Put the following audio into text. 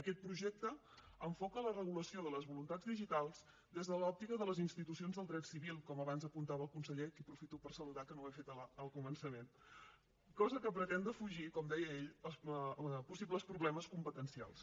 aquest projecte enfoca la regulació de les voluntats digitals des de l’òptica de les institucions del dret civil com abans apuntava el conseller a qui aprofito per saludar que no ho he fet al començament cosa que pretén defugir com deia ell possibles problemes competencials